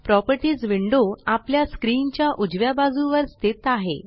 properties window आपल्या screen च्या उजव्या बाजुवर स्थित आहे